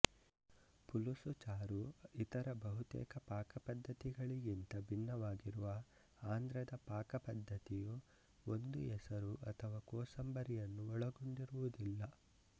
ಪುಲುಸು ಚಾರು ಇತರ ಬಹುತೇಕ ಪಾಕಪದ್ಧತಿಗಳಿಗಿಂತ ಭಿನ್ನವಾಗಿರುವ ಆಂಧ್ರದ ಪಾಕಪದ್ಧತಿಯು ಒಂದು ಎಸರು ಅಥವಾ ಕೋಸಂಬರಿಯನ್ನು ಒಳಗೊಂಡಿರುವುದಿಲ್ಲ